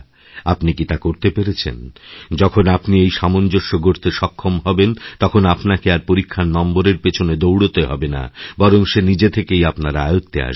আপনি কি তা করতে পেরেছেন যখনই আপনি এইসামঞ্জস্য গড়তে সক্ষম হবেন তখন আপনাকে আর পরীক্ষার নম্বরের পেছনে দৌড়াতে হবে না বরং সে নিজে থেকেই আপনার আয়ত্তে আসবে